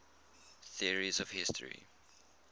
theories of history